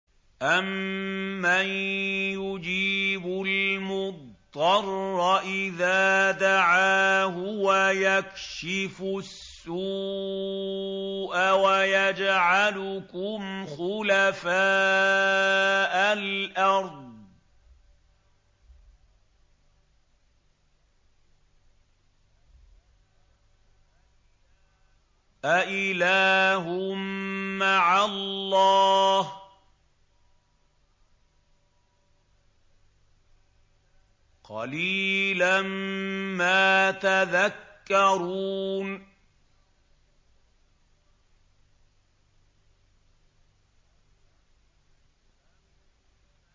أَمَّن يُجِيبُ الْمُضْطَرَّ إِذَا دَعَاهُ وَيَكْشِفُ السُّوءَ وَيَجْعَلُكُمْ خُلَفَاءَ الْأَرْضِ ۗ أَإِلَٰهٌ مَّعَ اللَّهِ ۚ قَلِيلًا مَّا تَذَكَّرُونَ